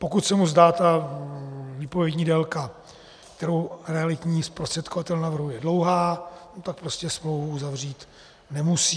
Pokud se mu zdá ta výpovědní délka, kterou realitní zprostředkovatel navrhuje, dlouhá, tak prostě smlouvu uzavřít nemusí.